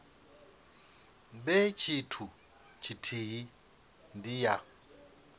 vhe tshithu tshithihi ndi ya